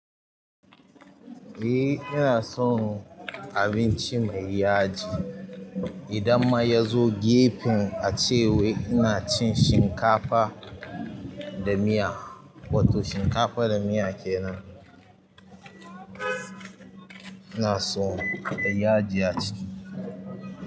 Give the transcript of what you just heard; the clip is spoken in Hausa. Eh ina son abinci mai yaji idan ma yazo gefen ace wai ina cin shinkafa da miya, wato shinkafa da miya kenan. Ina son in kalli yaji a ciki.